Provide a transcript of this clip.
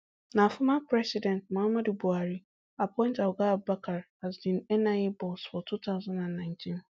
na former president muhammadu buhari appoint oga abubakar as di nia boss for two thousand and nineteen